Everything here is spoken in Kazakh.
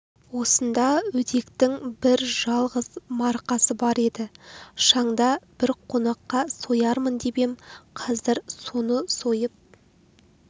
осында өдектің бір жалғыз марқасы бар еді шанда бір қонаққа соярмын деп ем қазір соны сойып